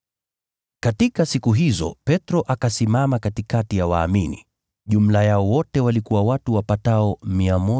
Katika siku hizo Petro akasimama katikati ya waumini (jumla yao wote walikuwa watu wapatao 120), akasema,